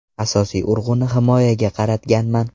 Asosiy urg‘uni himoyaga qaratganman.